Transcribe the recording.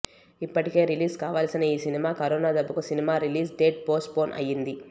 ఇప్పటికే రిలీజ్ కావాల్సిన ఈ సినిమా కరోనా దెబ్బకు cinema release date postpone అయింది